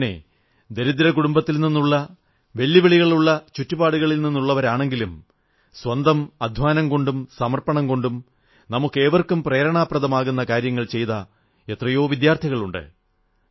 ഇങ്ങനെ ദരിദ്ര കുടുംബത്തിൽ നിന്നുള്ള വെല്ലുവിളികളുള്ള ചുറ്റുപാടുകളിൽ നിന്നുള്ളവരാണെങ്കിലും സ്വന്തം അധ്വാനം കൊണ്ടും സമർപ്പണം കൊണ്ടും നമുക്കേവർക്കും പ്രേരണാദായകമാകുന്ന കാര്യങ്ങൾ ചെയ്ത എത്രയോ വിദ്യാർഥികളുണ്ട്